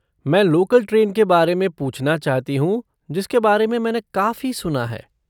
मैं local train के बारे में पूछना चाहती हूँ जिसके बारे में मैंने काफ़ी सुना है।